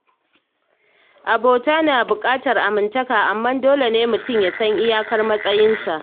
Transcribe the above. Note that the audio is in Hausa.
Abota na buƙatar amintaka, amma dole ne mutum ya san iyakar matsayinsa.